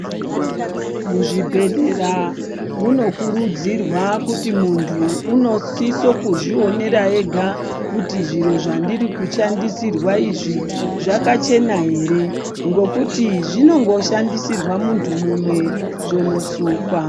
Muzvi bhedhlera muno kurudzirwa kuti muntu uno sise kuzvi onera ega kuti zviro zvandiri kushandisirwa izvi zvaka chena ere ngokuti zvinongo shandisirwa muntu umwe zvono sukwa.